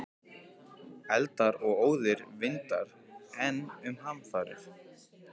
Eldar og óðir vindar- enn um hamfarir